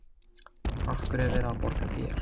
Af hverju er verið að borga þér?